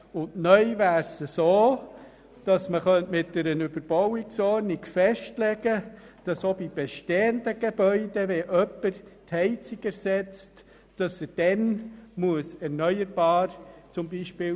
Neu soll man mit einer Überbauungsordnung festlegen können, dass auch bei bestehenden Gebäuden erneuerbare Energie verwendet werden muss, wenn jemand die Heizung ersetzt.